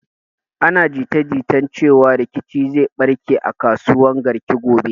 Ana jita jita cewan rikici zai barke a kasuwan Garki gobe.